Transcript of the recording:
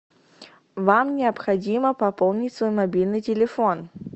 вам необходимо пополнить свой мобильный телефон